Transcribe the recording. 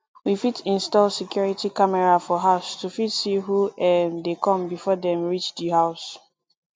we fit install security camera for house to fit see who um dey come before dem reach di house